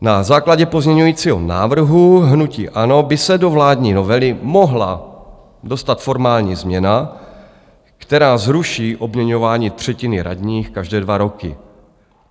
Na základě pozměňujícího návrhu hnutí ANO by se do vládní novely mohla dostat formální změna, která zruší obměňování třetiny radních každé dva roky.